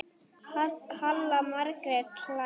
Halla Margrét hlær.